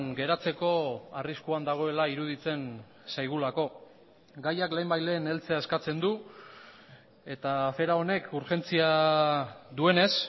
geratzeko arriskuan dagoela iruditzen zaigulako gaiak lehenbailehen heltzea eskatzen du eta afera honek urgentzia duenez